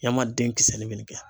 Yama denkisɛnin bɛ nin kɛ.